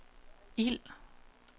ild